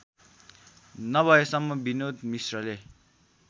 नभएसम्म विनोद मिश्रले